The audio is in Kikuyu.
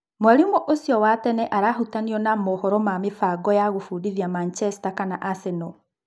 Mwalimu ũcio wa tene arahutanio na mohoro ma-mĩbango ya gũbundithia Macheta kana Aseno.